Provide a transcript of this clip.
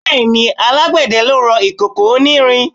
Bẹ́ẹ̀ni, alágbẹ̀dẹ lè rọ ìkòkò onírin.